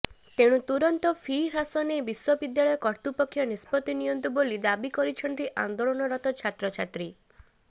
ତେଣୁ ତୁରନ୍ତି ଫି ହ୍ରାସ ନେଇ ବିଶ୍ୱବିଦ୍ୟାଳୟ କର୍ତ୍ତୃପକ୍ଷ ନିଷ୍ପତ୍ତି ନିଅନ୍ତୁ ବୋଲି ଦାବି କରିଛନ୍ତି ଆନ୍ଦୋଳନରତ ଛାତ୍ରଛାତ୍ରୀ